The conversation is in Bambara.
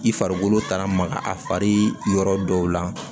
I farikolo taara maga a fari yɔrɔ dɔw la